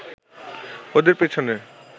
ওদের পিছনে